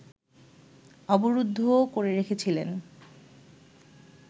অবরুদ্ধও করে রেখেছিলেন